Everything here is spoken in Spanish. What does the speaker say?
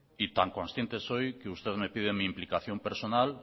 y tan consciente soy que usted me pide mi implicación personal